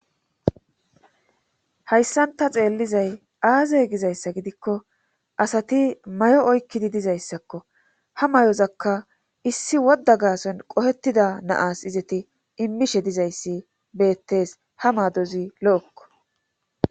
Hayssan ta xeellizay aaze gizayssa gidikko asati mayo oykkidi dizayssakko ha mayozakka issi wodda gaason qohettida naas izati immishe dizayssi beettes ha maadozi lo7ekko.